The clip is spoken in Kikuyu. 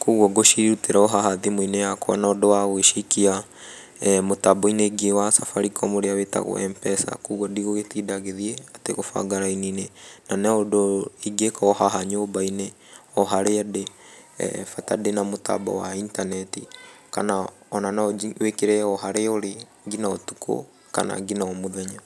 kũguo ngũcirutĩra o haha thimũ-inĩ yakwa na ũndũ wa gũgĩciikia mũtambo-inĩ ũngĩ wa Safaricom ũrĩa wĩtagwo MPESA kũguo ndigũgĩtinda gĩthiĩ atĩ gũbanga raini-inĩ na no ũndũ ingĩka o haha nyũmba-inĩ o harĩa ndĩ, bata ndĩ na mũtambo wa intaneti kana ona no wĩkĩre o harĩa ũrĩ ngina ũtukũ kana ngina o mũthenya.